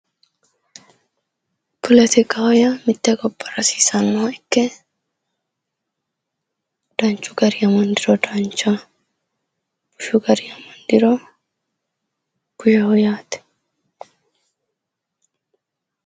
Polotikaho yaa mitte gobbara hasiisannoha ikke danchu garinni amandiro danchaho bashsho garinni amandiro bushaho yaate.